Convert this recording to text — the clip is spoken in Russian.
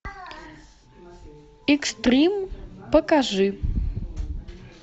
экстрим покажи